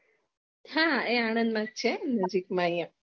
હા એ આણંદ મા જ છે